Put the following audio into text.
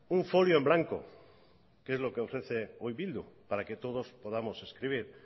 un folio en blanco que es lo que ofrece hoy bildu para que todos podamos escribir